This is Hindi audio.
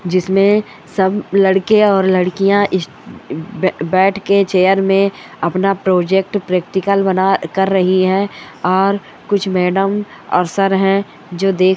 जिसमे सब लड़के और लडकिया बैठ के चेयर में अपना प्रोजेक्ट प्रैक्टिकल कर रही है और कूछ मैडम और सर है जो देख--